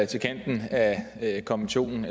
til kanten af konventionen